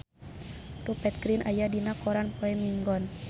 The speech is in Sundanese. Rupert Grin aya dina koran poe Minggon